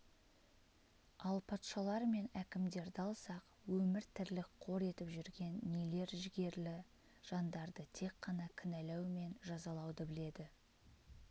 ал патшалар мен әкімдерді алсақ өмір-тірлік қор етіп жүрген нелер жігерлі жандарды тек қана кінәлау мен жазалауды біледі